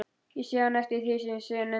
Ég sé enn eftir því síðar nefnda.